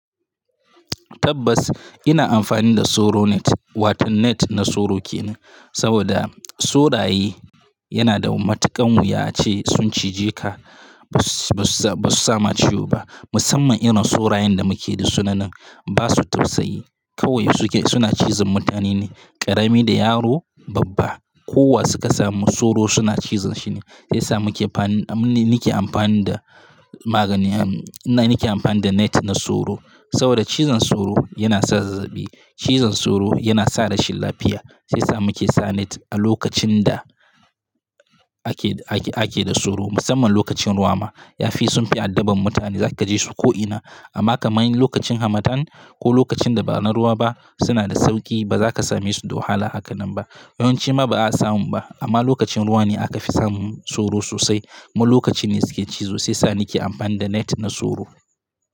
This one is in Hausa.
Tabbas ina amfani da soro net, wato net na soro ke nan saboda soraye yana da matuƙan wuya ace sun cije ka, ba su sama ciwo ba musamman irin sorayen da muke da sunanan ba su tausayi. Kawai su ke suna cizon mutane ne, ƙarami da yaro babba kowa suka samu soro suna cizon shi ne. Sai sa muke amfani, ni nake amfani da magani, nake amfani da net na soro saboda cizon soro yana sa zazzabi, cizon soro yana sa rashin lafiya. Sai sa muke sa net a lokacin da ake, ake da soro musamman lokacin ruwa ma. Yafi sun fi addaban mutane zaka je su ko'ina amma ka mai lokacin hamatan ko lokacin da ba na ruwa ba suna da sauƙi ba za ka same su da wahala hakannan ba. Yawanci ma ba a samu ba amma lokacin ruwa ne aka fi samun soro sosai. Ma lokaci ne suke cizo sai sa nake amfani da net na soro.